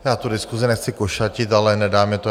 Já tu diskusi nechci košatit, ale nedá mi to.